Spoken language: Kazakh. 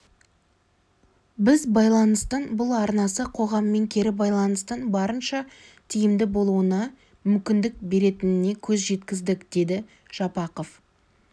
біз байланыстың бұл арнасы қоғаммен кері байланстың барынша тиімді болуына мүмкіндік беретінінекөз жеткіздік деді жапақов